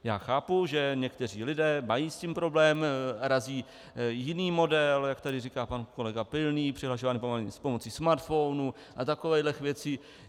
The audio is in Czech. Já chápu, že někteří lidé mají s tím problém, razí jiný model, jak tady říká pan kolega Pilný, přihlašování pomocí smartphonů a takovýchhle věcí.